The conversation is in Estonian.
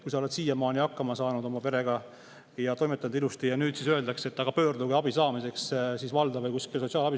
Kui sa oled siiamaani hakkama saanud oma perega ja toimetanud ilusti, siis nüüd öeldakse, et pöörduge sotsiaalabi saamiseks valda või kuskile.